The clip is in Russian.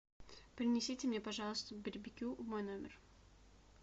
принесите мне пожалуйста барбекю в мой номер